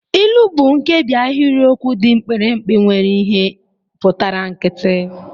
Ilu bụ nkebi ahịrịokwu dị mkpirikpi nwere ihe pụtara nkịtị